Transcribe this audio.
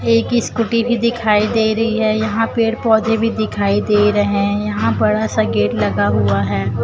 एक स्कूटी भी दिखाई दे रही है यहां पेड़ पौधे भी दिखाई दे रहे हैं यहां बड़ा सा गेट लगा हुआ है।